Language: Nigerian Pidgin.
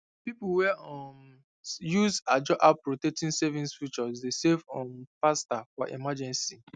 people wey um use ajo app rotating savings feature dey save um faster for emergency